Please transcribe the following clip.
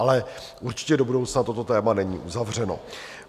Ale určitě do budoucna toto téma není uzavřeno.